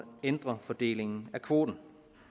ændre fordelingen af kvoten